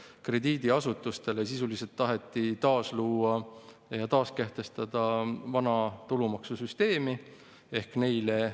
Lõpetuseks kirjutab ta, et käibemaksumäära tõstetakse 2024. aasta 1. jaanuarist ja tulumaksumuudatused alles 2025. aastast ehk tegelikult jääb aastane vahe sinna sisse: kulud kasvavad aasta võrra varem kui tulud järele tulevad.